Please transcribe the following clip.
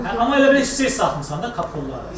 Amma elə bil hissə-hissə atmısan da o pulları.